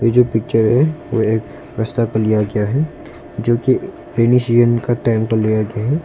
ये जो पिक्चर है वो एक रस्ता पर लिया गया है जो कि के टाइम पर लिया गया है।